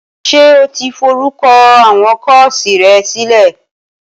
Ṣé o ti forúkọ àwọn kọ́ọ̀sì rẹ sílẹ̀?